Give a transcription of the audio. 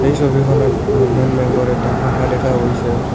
এই ছবিখনত বন্ধন বেঙ্কৰ এটা শাখা দেখা গৈছে।